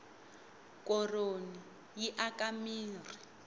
koroni yi aka mirhi